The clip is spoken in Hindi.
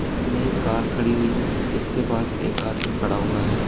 सामने एक कार खड़ी हुई है जिसके पास एक आदमी खड़ा हुआ है।